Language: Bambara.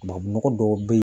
Tubabunɔgɔ dɔw bɛ yen.